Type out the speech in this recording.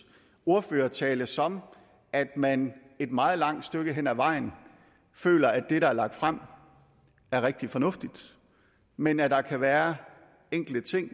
ordførertale sådan at man et meget langt stykke hen ad vejen føler at det der er lagt frem er rigtig fornuftigt men at der kan være enkelte ting